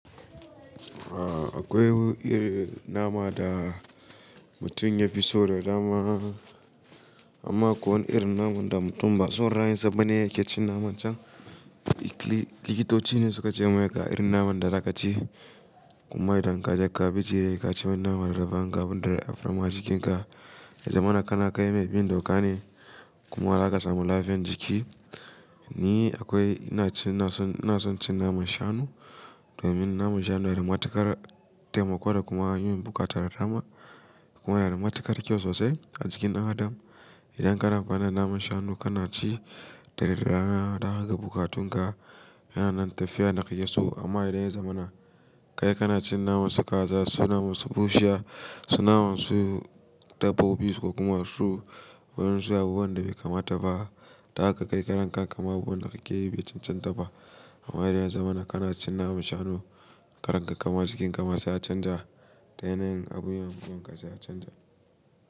Akwai irin nama da mutum ya fi so da dama, amma akwai wan irin naman da mutum ba son rayin sa bane yake cin naman can. Likitoci ne suka ce maka irin naman da za ka ci kuma idan ka je ka bi jiya ya ka ci naman raba gaban dare a fama jikinka. Ya zamana kana kai mai bin dokane kuma zaka samu lafiyan jiki. Ni akwai ina ci ina son cin naman shanu domin naman shanu na da matuƙar taimako da kuma yin buƙatar da dama kuma yana da matuƙar kyau sosai a jikin ɗan adam. Idan ka dafa naman shanu kana ci da rera ta haka buƙatun ka yana nan tafiya na kai ya so amma idan ya zamana kai kana cin naman su kaza su naman su bushiya su naman su dabbobi su kuma su wurin su abubuwan da bai kamata ba. Ta haka kai kanka ma abubuwan n da ka ke yi bai cancanta ba amma idan ya zamana kana cin naman shanu karen ka kuma jikin ka ma sai ya canja da yanayin abun da kake yi ya canja.